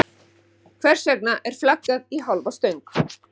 Hvers vegna er flaggað í hálfa stöng?